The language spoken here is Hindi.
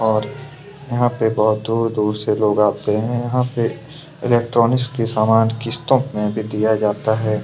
और यहाँ से बहुत दूर-दूर से लोग आते हैं इलेक्ट्रॉनिक के समान किस्तों में किया जाता है।